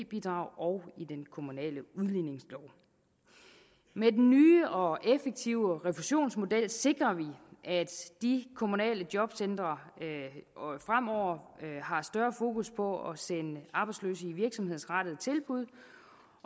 bidrag og i den kommunale udligningslov med den nye og effektive refusionsmodel sikrer vi at de kommunale jobcentre fremover har større fokus på at sende arbejdsløse i virksomhedsrettede tilbud